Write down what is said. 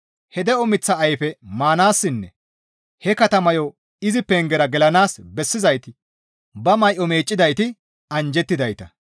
He de7o miththa ayfe maanaassinne he katamayo izi pengera gelanaas bessizayti ba may7o meeccidayti anjjettidayta.